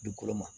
Dugukolo ma